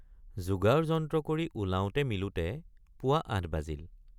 যোগাৰযন্ত্ৰ কৰি ওলাওঁতে মিলোতে পুৱ৷ ৮ বাজিল।